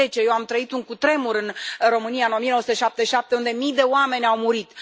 2010. Eu am trăit un cutremur în România în 1977, unde mii de oameni au murit.